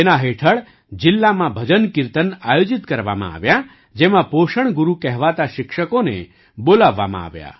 તેના હેઠળ જિલ્લામાં ભજનકીર્તન આયોજિત કરવામાં આવ્યાં જેમાં પોષણ ગુરુ કહેવાતા શિક્ષકોને બોલાવવામાં આવ્યા